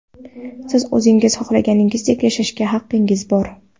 Siz o‘zingiz xohlaganingizdek yashashga haqingiz bor.